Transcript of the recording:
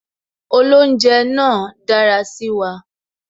Olounje náà dára sí wa